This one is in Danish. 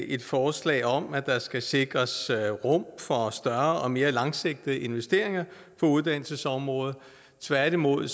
et forslag om at der skal sikres rum for større og mere langsigtede investeringer på uddannelsesområdet tværtimod